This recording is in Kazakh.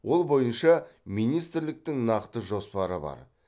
ол бойынша министрліктің нақты жоспары бар